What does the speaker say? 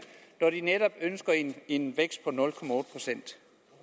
når de ønsker en vækst